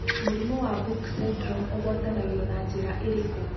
Mũrimũ wa Book syndrome ũgwatanagio na njĩra ĩrĩkũ?